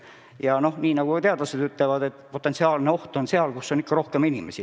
Ja nagu ka teadlased ütlevad, potentsiaalne oht on seal, kus on rohkem inimesi.